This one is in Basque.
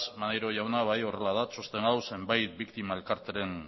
maneiro jauna bai horrela da txosten hau zenbait biktima elkarteren